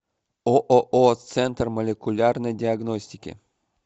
ооо центр молекулярной диагностики